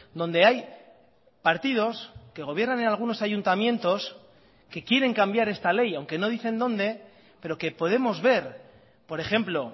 donde hay partidos que gobiernan en algunos ayuntamientos que quieren cambiar esta ley aunque no dicen dónde pero que podemos ver por ejemplo